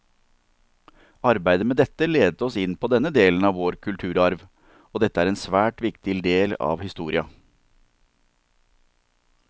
Arbeidet med dette ledet oss inn på denne delen av vår kulturarv, og dette er en svært viktig del av historia.